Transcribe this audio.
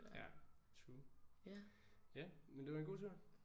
Ja true. Ja men det var en god tur